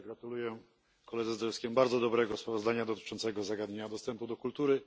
Ja także gratuluję koledze Zdrojewskiemu bardzo dobrego sprawozdania dotyczącego zagadnienia dostępu do kultury.